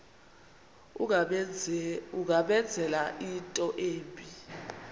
ungamenzela into embi